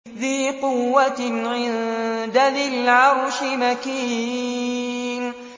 ذِي قُوَّةٍ عِندَ ذِي الْعَرْشِ مَكِينٍ